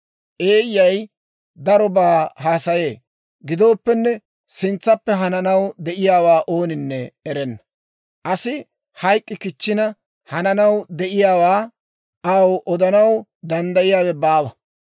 Eeyyay darobaa haasayee. Gidooppenne, sintsappe hananaw de'iyaawaa ooninne erenna. Asi hayk'k'i kichchina, hananaw de'iyaawaa aw odanaw danddayiyaawe baawa.